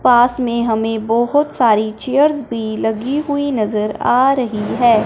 पास मे हमे बहोत सारी चेयर्स भी लगी हुई नजर आ रही है।